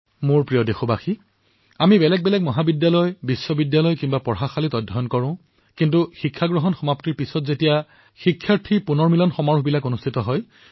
মোৰ মৰমৰ দেশবাসীসকল আমি বিভিন্ন মহাবিদ্যালয় বিশ্ববিদ্যালয় বিদ্যালয়ত পঢ়ি উঠাৰ পিছত প্ৰাক্তন ছাত্ৰছাত্ৰীসকলৰ সন্মিলন এক অতিশয় সুখদ অভিজ্ঞতা হিচাপে বিবেচিত হয়